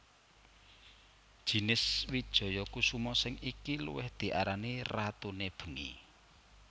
Jinis wijaya kusuma sing iki luwih diarani ratune bengi